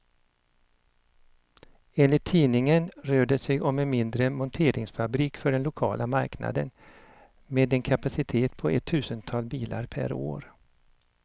Enligt tidningen rör det sig om en mindre monteringsfabrik för den lokala marknaden, med en kapacitet på ett tusental bilar per år.